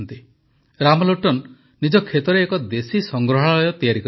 ରାମଲୋଟନ ନିଜ କ୍ଷେତରେ ଏକ ଦେଶୀ ସଂଗ୍ରହାଳୟ ତିଆରି କରିଛନ୍ତି